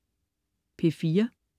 P4: